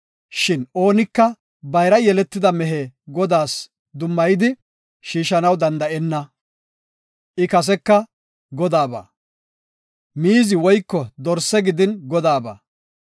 Shin oonika bayra yeletida mehe Godaas dummayidi shiishanaw danda7enna; I kaseka Godaaba. Miizi woyko dorse gidin Godaaba.